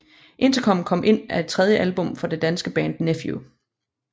Interkom Kom Ind er det tredje album fra det danske band Nephew